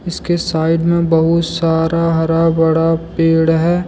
इसके साइड में बहुत सारा हरा भरा पेड़ है।